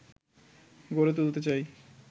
গড়ে তুলতে চাই